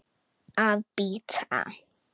Að bíta.